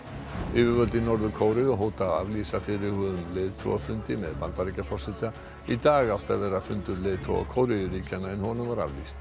yfirvöld í Norður Kóreu hóta að aflýsa fyrirhuguðum leiðtogafundi með Bandaríkjaforseta í dag átti að vera fundur leiðtoga Kóreuríkjanna en honum var aflýst